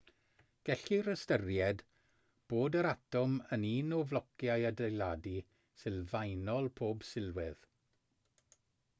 gellir ystyried bod yr atom yn un o flociau adeiladu sylfaenol pob sylwedd